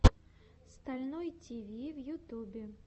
стальной тиви в ютубе